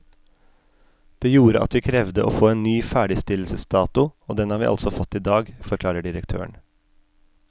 Det gjorde at vi krevde å få en ny ferdigstillelsesdato, og den har vi altså fått i dag, forklarer direktøren.